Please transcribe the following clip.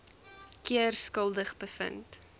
keer skuldig bevind